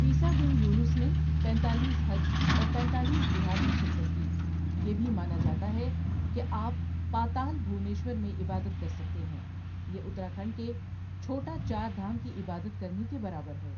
عیسیٰ بن یونس نے پینتالیس حج اور پینتالیس جہاد میں شرکت کی یہ بھی مانا جاتا ہے کہ آپ پاتال بھونیشور میں عبادت کر سکتے ہیں، یہ اتراکھنڈ کے چھوٹا چار دھام کی عبادت کرنے کے برابر ہے۔